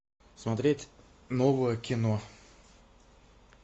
смотреть новое кино